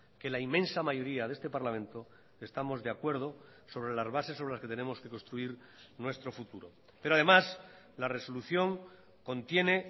que la inmensa mayoría de este parlamento estamos de acuerdo sobre las bases sobre las que tenemos que construir nuestro futuro pero además la resolución contiene